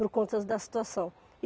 Por conta da situação.